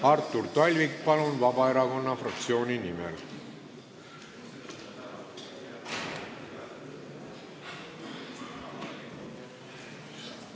Artur Talvik, palun, Vabaerakonna fraktsiooni nimel!